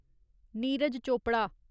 Neeraj Chopra